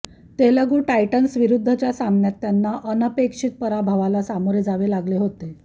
Telugu Titans विरुद्धच्या सामन्यात त्यांना अनपेक्षित पराभवाला सामोरे जावे लागले होते